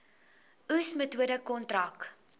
oes metode kontrak